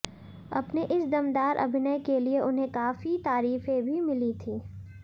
अपने इस दमदार अभिनय के लिए उन्हें काफी तारीफें भी मिली थी